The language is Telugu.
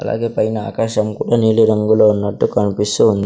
అలాగే పైన ఆకాశం కూడా నీలి రంగులో ఉన్నట్టు కనిపిస్తూ ఉంది.